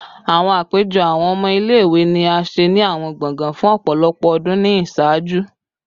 Awọn apejọ awọn ọmọ ile-iwe ni a ṣe ni awọn gbọngàn fun ọpọlọpọ ọdun ni iṣaaju